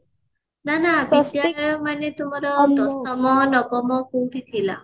ନା ନା ତମର ଦଶମ ନବମ କୋଉଠି ଥିଲା